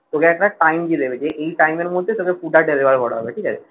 তোকে একটা time দিয়ে দেবে যে এই time এর মধ্যে তাদের food টা deliver করা হবে ঠিক আছে